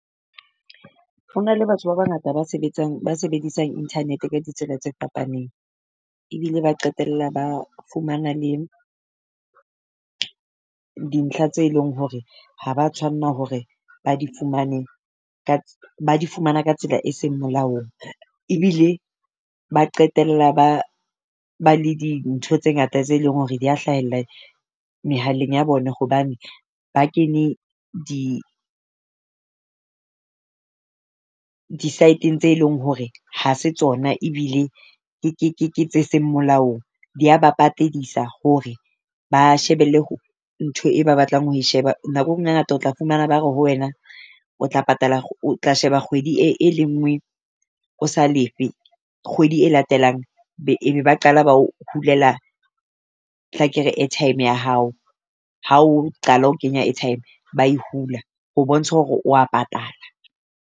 Ho na le batho ba bangata ba sebetsang, ba sebedisang internet ka ditsela tse fapaneng, ebile ba qetella ba fumana le dintlha tse leng hore ha ba tshwanna hore ba di fumane. Ka ba di fumana ka tsela e seng molaong, ebile ba qetella ba ba le di ntho tse ngata tse leng hore dia hlahella mehaleng ya bona. Hobane ba kene di di side-eng tse leng hore ha se tsona ebile ke ke ke ke ke tse seng molaong. Di ya ba patedisa hore ba shebelle ho ntho e ba batlang ho e sheba nakong e ngata tla fumana ba re ho wena o tla patala o tla sheba kgwedi e e le ngwe o sa lefe. Kgwedi e latelang be e be ba qala ba ho hulela tla ke re airtime ya hao. Ha o qala ho kenya airtime, ba e hula ho bontsha hore wa patala.